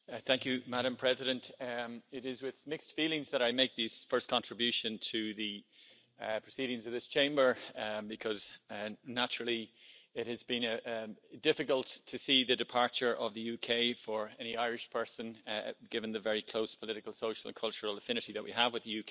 Madam President, it is with mixed feelings that I make this first contribution to the proceedings of this Chamber because, naturally, it has been difficult to see the departure of the UK for any Irish person, given the very close political, social and cultural affinity that we have with the UK.